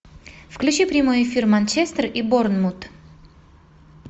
включи прямой эфир манчестер и борнмут